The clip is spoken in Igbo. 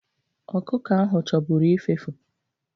Ọkụkọ ahụ chọburu ifefu.